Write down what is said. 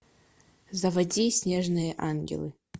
заводи снежные ангелы